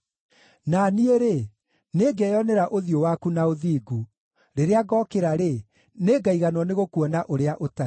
Na niĩ-rĩ, nĩngeyonera ũthiũ waku na ũthingu; rĩrĩa ngokĩra-rĩ, nĩngaĩiganwo nĩgũkuona ũrĩa ũtariĩ.